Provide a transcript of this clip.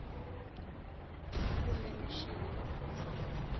kumbe mixini loko u tshama